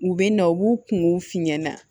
U bɛ na u b'u kungow f'i ɲɛna